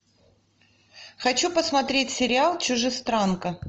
хочу посмотреть сериал чужестранка